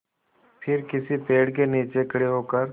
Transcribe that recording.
फिर किसी पेड़ के नीचे खड़े होकर